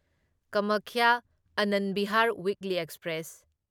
Kamakhya Anand Vihar weekly express